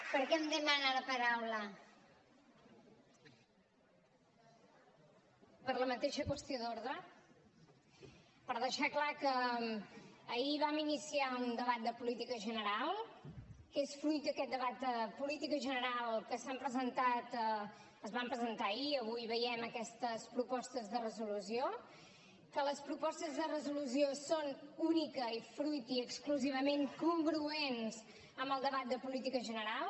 per la mateixa qüestió d’ordre per deixar clar que ahir vam iniciar un debat de política general que és fruit d’aquest debat de política general que es van presentar ahir i avui veiem aquestes propostes de resolució que les propostes de resolució són únicament i exclusivament congruents amb el debat de política general